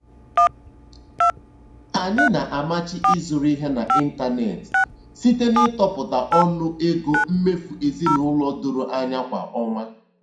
Anyị na-amachi ịzụrụ ihe n'ịntanetị site n'ịtọpụta ọnụ ego mmefu ezinụlọ doro anya kwa ọnwa.